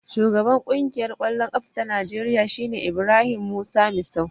Shugaban Ƙungiyar ƙwallon ƙafa ta Najeriya shine Ibrahim Musa Misau.